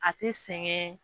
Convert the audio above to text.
A te sɛgɛn